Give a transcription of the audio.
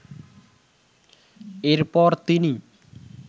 এরপর তিনি